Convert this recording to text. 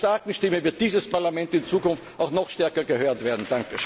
Mit einer starken Stimme wird dieses Parlament in Zukunft auch noch stärker gehört werden!